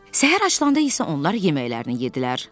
Səhər açılanda isə onlar yeməklərini yeddilər.